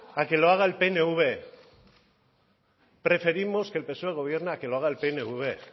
a que lo haga el pnv